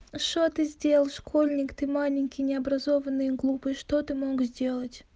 что ты сделал школьник ты маленький необразованный глупый что ты мог сделать